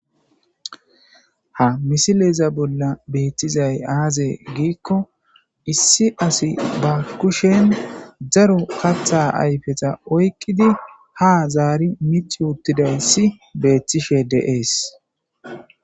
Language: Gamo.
Ha misileza bolla betizayi aze gikko issi assi ba kusheni darro katha ayifeta oyikidi ha zari micci uttidayisi beteshe deyesi.